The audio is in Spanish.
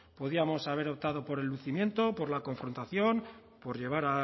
podíamos haber optado por el lucimiento por la confrontación por llevar